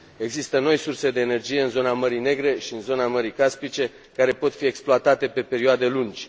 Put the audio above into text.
Există noi surse de energie în zona Mării Negre și în zona Mării Caspice, care pot fi exploatate pe perioade lungi.